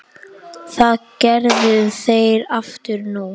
Það gerðu þeir aftur nú.